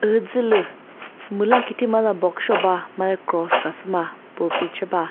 üzülü müla khi thimazü za box sheo ba made cross khasüma pulpit she ba.